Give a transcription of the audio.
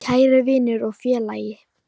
Kæri vinur og félagi.